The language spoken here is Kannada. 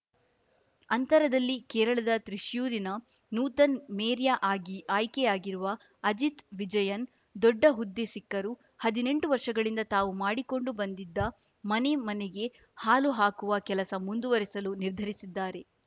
ಅಂಥರದಲ್ಲಿ ಕೇರಳದ ತ್ರಿಶ್ಯೂರಿನ ನೂತನ್‌ ಮೇರ್ಯ ಆಗಿ ಆಯ್ಕೆಯಾಗಿರುವ ಅಜಿತಾ ವಿಜಯನ್‌ ದೊಡ್ಡ ಹುದ್ದೆ ಸಿಕ್ಕರೂ ಹದ್ನೆಂಟು ವರ್ಷಗಳಿಂದ ತಾವು ಮಾಡಿಕೊಂಡು ಬಂದಿದ್ದ ಮನೆ ಮನೆಗೆ ಹಾಲು ಹಾಕುವ ಕೆಲಸ ಮುಂದುವರೆಸಲು ನಿರ್ಧರಿಸಿದ್ದಾರೆ